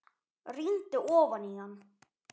Rýndi ofan í hann.